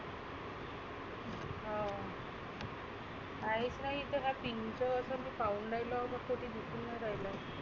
हाव आहेच नाही इथं काही pin चं मी पाहुन राहीलो कुठे दिसुन नाही राहीलं.